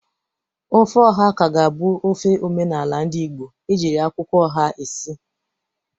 Ofe oha ka ga-abụ ofe omenala ndị Igbo ejiri akwụkwọ oha esi.